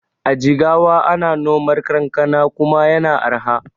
A jigawa ana nomar kankana kuma yana arha.